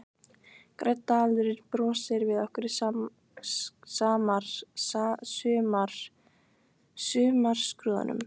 Grænn dalurinn brosir við okkur í sumarskrúðanum.